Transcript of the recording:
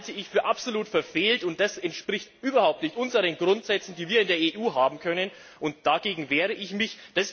Das halte ich für absolut verfehlt, und es entspricht überhaupt nicht den Grundsätzen, die wir in der EU haben, und dagegen wehre ich mich.